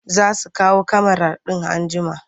Za su kawo kyamarar in an jima.